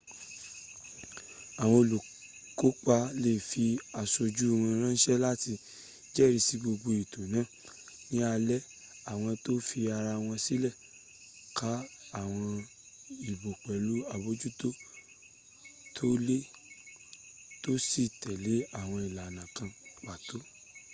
àwọn olùkópa lè fi aṣojú wọ́n ránṣẹ́ láti jẹ́rìsí gbogbo ètò náà ní alẹ́ àwọ́n tó fi ara wọ́n sílẹ̀ ka àwọn ìbò pẹ̀lú àbójútó tó le tó sì tẹ̀lé àwọn ìlànà kan pàtó